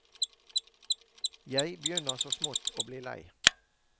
Jeg begynner så smått å bli lei.